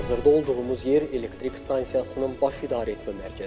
Hazırda olduğumuz yer elektrik stansiyasının baş idarəetmə mərkəzidir.